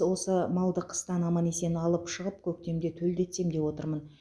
осы малды қыстан аман есен алып шығып көктемде төлдетсем деп отырмын